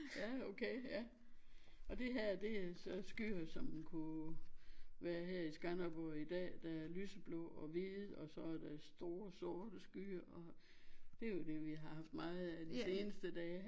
Ja okay ja og det her det er så skyer som kunne være her i Skanderborg i dag der er lyseblå og hvide og så er der store sorte skyer og det jo det vi har haft meget af de seneste dage